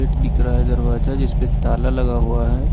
दिख रहा है दरवाजा जिस पे ताला लगा हुआ है।